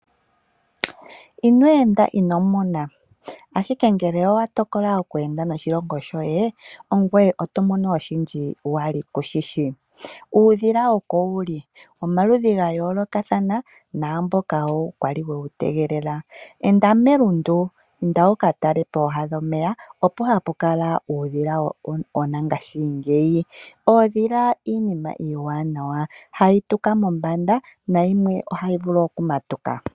Ino enda ino mona! Ashike ngele owa tokola oku enda noshilongo shoye oto mono oshindji wali ku shi shi. Uudhila oko wu li womaludhi ga yoolokathana naamboka wo kwali wewu tegelela. Enda melundu, inda wu ka tale pooha dhomeya, opo hapu kala uudhila wongashingeyi. Oondhila iinima iiwanawa hayi tuka mombanda nayimwe ohayi vulu okumatuka.